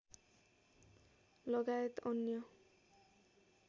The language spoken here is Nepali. लगायत अन्य